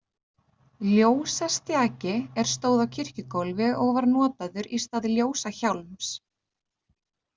Ljósastjaki, er stóð á kirkjugólfi og var notaður í stað ljósahjálms.